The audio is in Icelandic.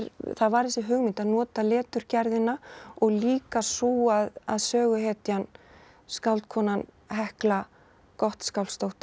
það var þessi hugmynd að nota og líka sú að söguhetjan skáldkonan Hekla Gottskálksdóttir